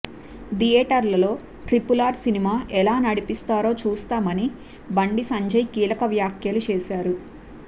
థియేటర్లలో ఆర్ఆర్ఆర్ సినిమా ఎలా నడిపిస్తారో చూస్తామని బండి సంజయ్ కీలక వ్యాఖ్యలు చేశారు